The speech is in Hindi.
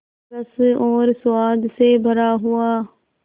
रस और स्वाद से भरा हुआ